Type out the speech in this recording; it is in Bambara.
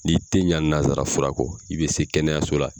N'i tɛ ɲa nazara fura kɔ i bɛ se kɛnɛyaso la.